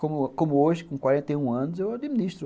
Como como hoje, com quarenta e um anos, eu administro.